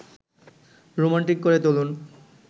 romantic করে তুলুন